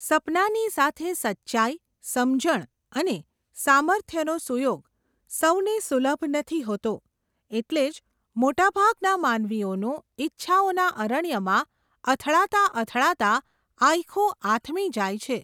સપનાંની સાથે સચ્ચાઈ, સમજણ, અને, સામર્થ્યનો સુયોગ, સૌને સુલભ નથી હોતો, એટલે જ, મોટાભાગના માનવીઓનું, ઈચ્છાઓના અરણ્યમાં, અથડાતાં અથડાતાં, આયખું આથમી જાય છે.